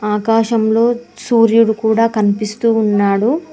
ఆకాశంలో సూర్యుడు కూడా కనిపిస్తూ ఉన్నాడు.